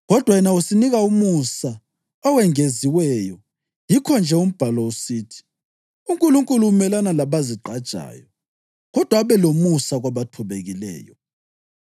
Kodwa yena usinika umusa owengeziweyo. Yikho-nje umbhalo usithi: “UNkulunkulu umelana labazigqajayo, kodwa abe lomusa kwabathobekileyo.” + 4.6 Izaga 3.34